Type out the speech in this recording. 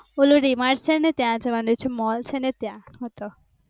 ઓલું D Mart છે ને ત્યાં જવાની છું મોલ છે ને ત્યાં.